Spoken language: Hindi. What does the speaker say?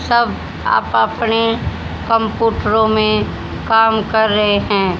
सब आप अपने कंप्यूटरों में काम कर रहे हैं।